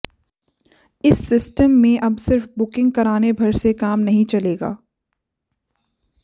इस सिस्टम में अब सिर्फ बुकिंग कराने भर से काम नहीं चलेगा